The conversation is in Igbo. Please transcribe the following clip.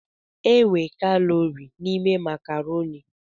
E nwe kalọri n'ime makarọni.